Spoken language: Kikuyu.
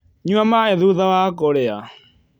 Nyua maĩ thũtha wa kũrĩa